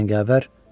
Cəngavər!